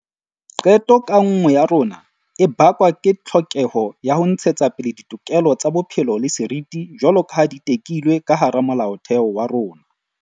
Qeto ka nngwe ya rona e bakwa ke tlhokeho ya ho ntshetsapele ditokelo tsa bophelo le seriti jwaloka ha di tekilwe ka hara Molaotheo wa rona.